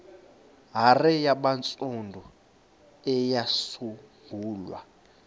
hare yabantsundu eyasungulwa